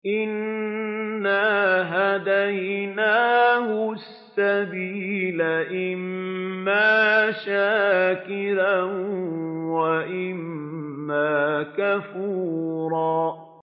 إِنَّا هَدَيْنَاهُ السَّبِيلَ إِمَّا شَاكِرًا وَإِمَّا كَفُورًا